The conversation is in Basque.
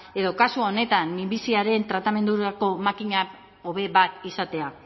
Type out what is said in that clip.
edo kasu honetan minbiziaren tratamendurako makina hobe bat izatea